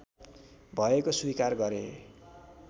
भएको स्वीकार गरे